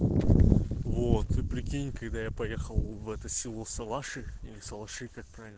вот ты прикинь когда я поехал в это село салаши или салаши как правильно